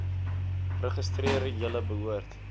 registreer julle behoort